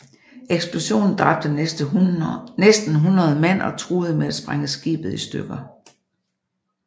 Eksplosionen dræbte næsten 100 mand og truede med at sprænge skibet i stykker